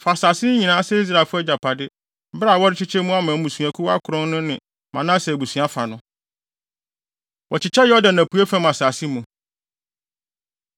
Fa saa asase yi nyinaa sɛ Israelfo agyapade bere a worekyekyɛ mu ama mmusuakuw akron no ne Manase abusua fa no.” Wɔkyekyɛ Yordan Apuei Fam Asase Mu